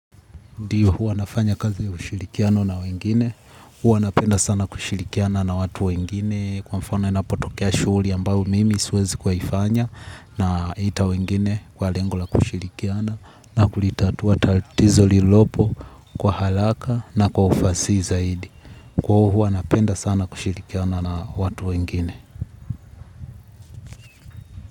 Ndio hua nafanya kazi kushirikiano na wengine, hua napenda sana kushirikiana na watu wengine kwa mfano inapotokea shughuli ambayo mimi siwezi kuifanya naita wengine kwa lengo la kushirikiana na kulitatua tatizo lililopo kwa haraka na kwa ufasihi zaidi. Kwa hua napenda sana kushirikiana na watu wengine.